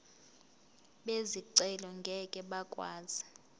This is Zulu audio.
bezicelo ngeke bakwazi